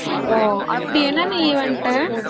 ஓ அப்டி என்னென்ன event ?